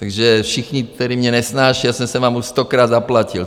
Takže všichni, kteří mě nesnášejí - já jsem se vám už stokrát zaplatil.